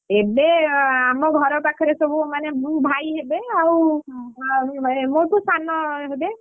ଏବେ ଆମ ଘର ପାଖରେ ସବୁ ମାନେ ମୋ ଭାଇ ହେବେ ଆଉ ମୋ ଠୁ ସାନ ହେବେ,